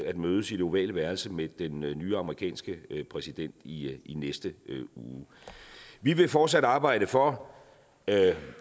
at mødes i det ovale værelse med den nye amerikanske præsident i i næste uge vi vil fortsat arbejde for at